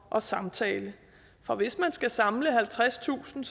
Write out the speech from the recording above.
og samtale for hvis man skal samle halvtredstusind